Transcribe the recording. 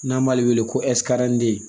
N'an b'ale wele ko